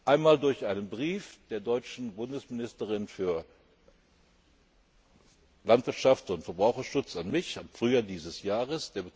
gibt. Einmal durch einen Brief der deutschen Bundesministerin für Landwirtschaft und Verbraucherschutz an mich vom Frühjahr dieses Jahres.